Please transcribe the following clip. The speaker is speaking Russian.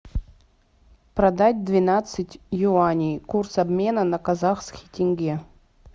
продать двенадцать юаней курс обмена на казахский тенге